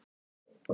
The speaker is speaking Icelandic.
Fátækt á Íslandi